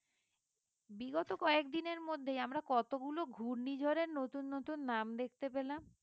বিগত কয়েক দিনের মধ্যেই আমরা কতগুলো ঘূর্ণিঝড় এর নতুন নতুন নাম দেখতে পেলাম